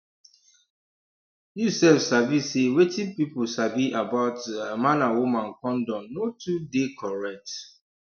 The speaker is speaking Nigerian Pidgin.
um you sef sabi say wetin pipu sabi about um man and woman condom no too dey correct